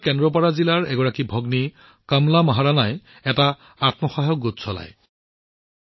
ওড়িশাৰ কেন্দ্ৰপদ জিলাৰ এগৰাকী ভগ্নী কমলা মোহৰানাই এটা আত্মসহায়ক গোট চলায়